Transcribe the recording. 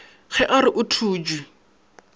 ge a re o thutše